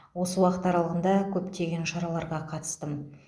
осы уақыт аралығында көптеген шараларға қатыстым